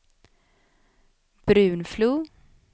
Brunflo